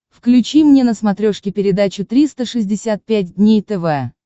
включи мне на смотрешке передачу триста шестьдесят пять дней тв